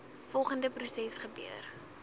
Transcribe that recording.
volgende proses gebeur